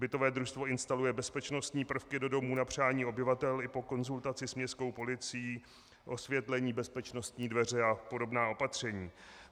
Bytové družstvo instaluje bezpečnostní prvky do domů na přání obyvatel i po konzultaci s městskou policií, osvětlení, bezpečnostní dveře a podobná opatření.